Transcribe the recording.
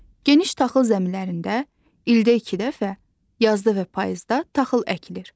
Geniş taxıl zəmilərində ildə iki dəfə, yazda və payızda taxıl əkilir.